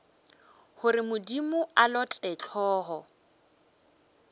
gore modimo a lote hlogo